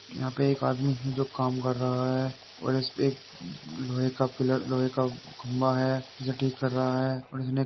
यहाँ पे एक आदमी है जो काम कर रहा है और इस पे एक लोहे का पिलर लोहे का खंभा है। इसे ठीक कर रहा है और इसने --